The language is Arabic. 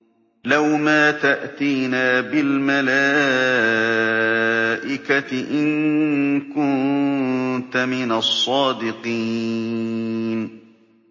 لَّوْ مَا تَأْتِينَا بِالْمَلَائِكَةِ إِن كُنتَ مِنَ الصَّادِقِينَ